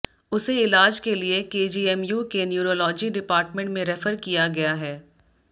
उसे इलाज के लिए केजीएमयू के न्यूरॉलजी डिपार्टमेंट में रेफर किया गया है